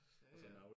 Ja ja